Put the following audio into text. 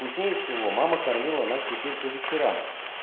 вкуснее всего мама кормила нас теперь по вечерам